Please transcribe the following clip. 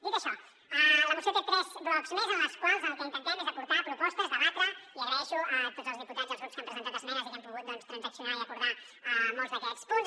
dit això la moció té tres blocs més en els quals el que intentem és aportar propostes debatre i dono les gràcies a tots els diputats i als grups que han presentat esmenes i amb què hem pogut transaccionar i acordar molts d’aquests punts